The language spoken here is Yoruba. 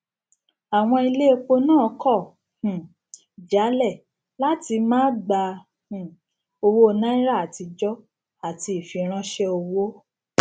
àwọn ilé epo náà kọ um jálẹ láti máa gba um owó náírà àtijọ àti ìfiránṣẹ owó